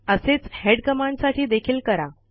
असेच हेड कमांडसाठी देखील करा